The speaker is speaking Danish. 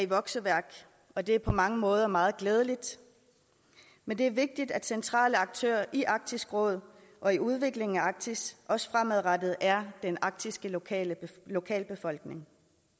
vokseværk og det er på mange måder meget glædeligt men det er vigtigt at centrale aktører i arktisk råd og i udviklingen af arktis også fremadrettet er den arktiske lokalbefolkning